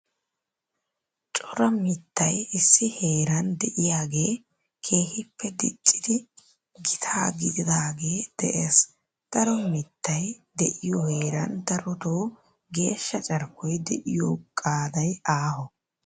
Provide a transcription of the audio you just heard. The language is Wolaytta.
Cora mittay issi heeran de'iyagee keehippe diccidi gitaa gididaagee de'ees. Daro mittay de'iyo heeran darotoo geeshsha carkkoya de'iyo qaaday aaho.